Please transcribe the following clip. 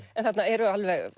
en þarna eru